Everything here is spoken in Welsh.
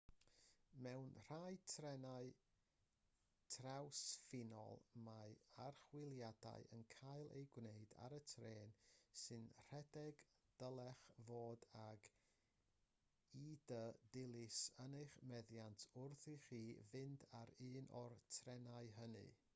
mewn rhai trenau trawsffiniol mae archwiliadau yn cael eu gwneud ar y trên sy'n rhedeg a dylech fod ag id dilys yn eich meddiant wrth i chi fynd ar un o'r trenau hynny